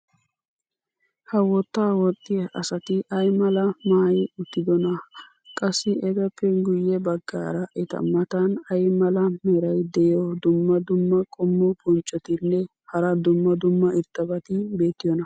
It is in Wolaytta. ha wotaa woxxiya asati ay malaa maayi uttidonaa? qassi etappe guye bagaara eta matan ay mala meray diyo dumma dumma qommo bonccotinne hara dumma dumma irxxabati beetiyoonaa?